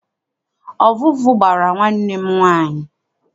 Ọvụvụ gbara nwanne m nwaanyị.